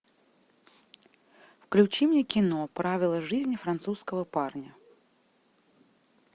включи мне кино правила жизни французского парня